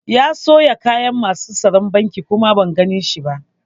Ya sauya kayan masu tsaron banki kuma ban gane shi ba